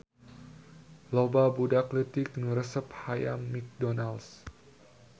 Loba budak leutik nu resep hayam McDonalds